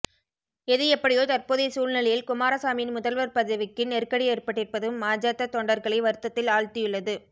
எது எப்படியோ தற்போதைய சூழ்நிலையில் குமாரசாமியின் முதல்வர் பதவிக்கு நெருக்கடி ஏற்பட்டிருப்பது மஜத தொண்டர்களை வருத்தத்தில் ஆழ்த்தியுள்ளது